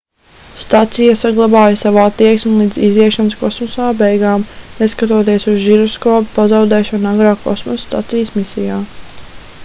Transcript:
stacija saglabāja savu attieksmi līdz iziešanas kosmosā beigām neskatoties uz žiroskopa pazaudēšanu agrāk kosmosa stacijas misijā